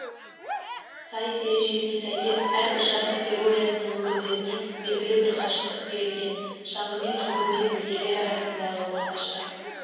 сайыс ережесіне сәйкес әрбір жас категориясының өкілдеріне белгілі бір қашықтық берілген шаңғымен жүгіруден ерлер арасындағы орташа